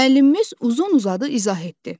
Müəllimimiz uzun-uzadı izah etdi.